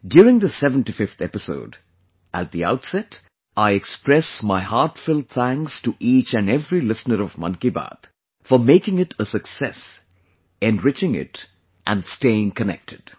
During this 75th episode, at the outset, I express my heartfelt thanks to each and every listener of Mann ki Baat for making it a success, enriching it and staying connected